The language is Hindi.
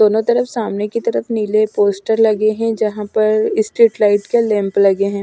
दोनों तरफ सामने की तरफ नीले पोस्टर लगे हैं जहाँ पर स्ट्रीट लाइट के लैंप लगे हैं।